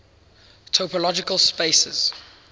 topological spaces